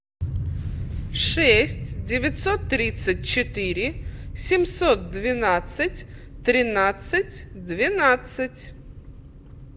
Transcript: шесть девятьсот тридцать четыре семьсот двенадцать тринадцать двенадцать